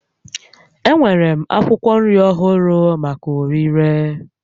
Enwere m akwụkwọ nri ọhụrụ maka ọrịre